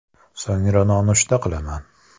So‘ngra nonushta qilaman.